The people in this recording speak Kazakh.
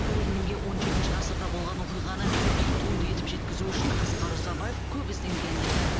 көрерменге он жетінші ғасырда болған оқиғаны көркем туынды етіп жеткізу үшін асқар ұзабаев көп ізденгенін айтады